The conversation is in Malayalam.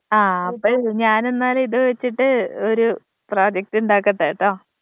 ആ അപ്പഴ് ഞാനിന്നാല് ഇത് വെച്ചിട്ട് ഒരു പ്രൊജക്റ്റ് ഉണ്ടാക്കട്ടെ ട്ടൊ